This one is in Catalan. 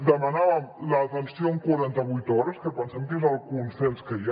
demanàvem l’atenció en quaranta vuit hores que pensem que és el consens que hi ha